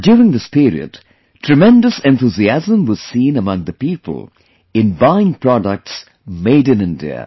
And during this period, tremendous enthusiasm was seen among the people in buying products Made in India